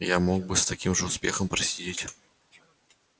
роботе я мог бы с таким же успехом просидеть